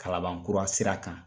Kalanban kura sira kan